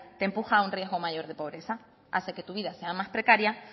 te empuja a riesgo mayor de pobreza hace que tu vida sea más precaria